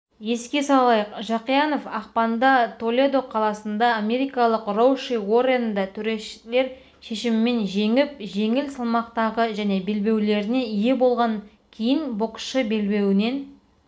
еске салайық жақиянов ақпанда толедо қаласында америкалық роуши уорренді төрешілер шешімімен жеңіп жеңіл салмақтағы және белбеулеріне ие болған кейін боксшы белбеуінен